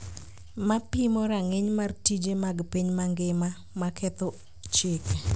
ma pimo rang’iny mar tije mag piny mangima ma ketho chike